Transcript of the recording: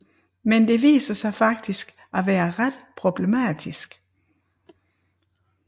Men det viser sig faktisk at være ret problematisk